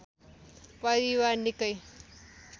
परिवार निकै